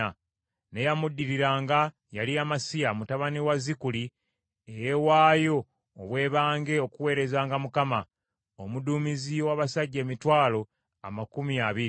n’eyamuddiriranga yali Amasiya mutabani wa Zikuli, eyeewaayo obwebange okuweerezanga Mukama , omuduumizi ow’abasajja emitwalo amakumi abiri (200,000).